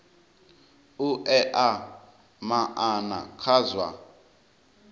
u ea maana kha zwa